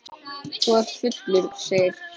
Þú ert fullur, segir hún.